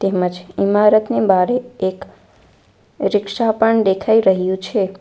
તેમજ ઈમારતની બારે એક રીક્ષા પણ દેખાઈ રહ્યું છે.